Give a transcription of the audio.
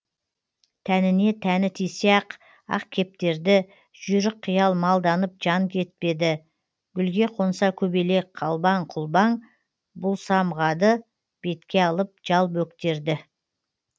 тәніне тәні тисе ақ ақкептерді жүйрікқиял малданып жан жетпеді гүлге қонса көбелек қалбаң құлбаң бұл самғады бетке алып жал бөктерді